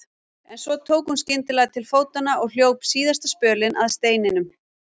En svo tók hún skyndilega til fótanna og hljóp síðasta spölinn að steininum.